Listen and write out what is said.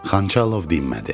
Xançalov dinmədi.